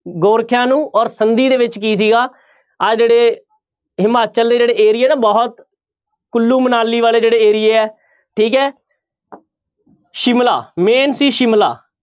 ਗੋਰਖਿਆਂ ਨੂੰ ਔਰ ਸੰਧੀ ਦੇ ਵਿੱਚ ਕੀ ਸੀਗਾ ਆਹ ਜਿਹੜੇ ਹਿਮਾਚਲ ਦੇ ਜਿਹੜੇ ਏਰੀਏ ਨਾ ਬਹੁਤ ਕੁੱਲੂ ਮਨਾਲੀ ਵਾਲੇ ਜਿਹੜੇ ਏਰੀਏ ਹੈ ਠੀਕ ਹੈ ਸ਼ਿਮਲਾ main ਸੀ ਸ਼ਿਮਲਾ